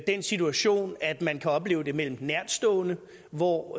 den situation at man kan opleve det mellem nærtstående hvor